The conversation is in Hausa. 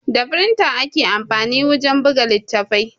Da firinta ake amfani wajen buga littafi